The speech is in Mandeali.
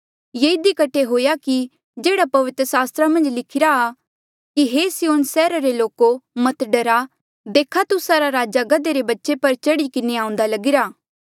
ये इधी कठे हुआ कि जेह्ड़ा पवित्र सास्त्रा मन्झ लिखिरा आ कि हे सिय्योन सैहरा रे लोको मत डरा देख तुस्सा रा राजा गधे रे बच्चे पर चढ़ी किन्हें आऊंदा लगीरा